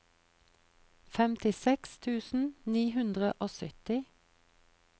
femtiseks tusen ni hundre og sytti